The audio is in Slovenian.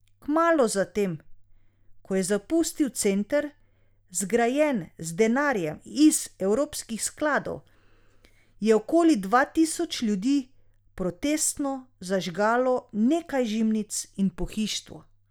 Kmalu zatem, ko je zapustil center, zgrajen z denarjem iz evropskih skladov, je okoli dva tisoč ljudi protestno zažgalo nekaj žimnic in pohištvo.